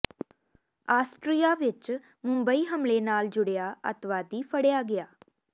Austria ਵਿੱਚ ਮੁੰਬਈ ਹਮਲੇ ਨਾਲ ਜੁੜਿਆ ਅੱਤਵਾਦੀ ਫੜਿਆ ਗਿਆ